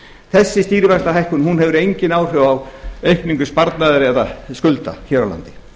þessi stýrivaxtahækkun hefur engin áhrif á aukningu sparnaðar eða skulda hér á landi